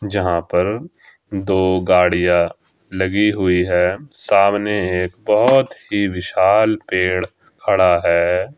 जहां पर दो गाड़ियां लगी हुई है सामने एक बहोत ही विशाल पेड़ खड़ा है।